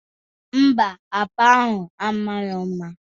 Ḿbà, akpa ahụ a marọ mma